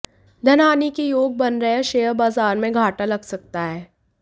धन हानि के योग बन रहे है शेयर बाजार में घाटा लग सकता है